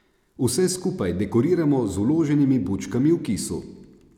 Vse skupaj dekoriramo z vloženimi bučkami v kisu.